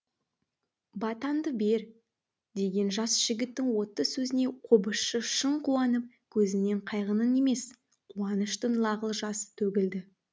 батаңды бер деген жас жігіттің отты сөзіне қобызшы шын қуанып көзінен қайғының емес қуаныштың лағыл жасы төгілді